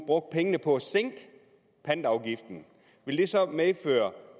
brugte pengene på at sænke pantafgiften ville det så medføre